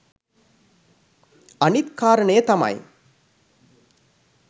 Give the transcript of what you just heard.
අනිත් කාරණය තමයි